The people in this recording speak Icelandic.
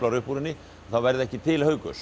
upp úr henni þá verða ekki til